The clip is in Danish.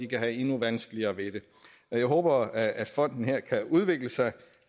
kan have endnu vanskeligere ved det jeg håber at fonden her kan udvikle sig